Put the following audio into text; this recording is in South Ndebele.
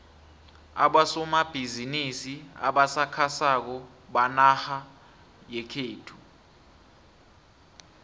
abosomabhizimisi abasakhasako benarha yekhethu